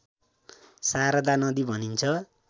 शारदा नदी भनिन्छ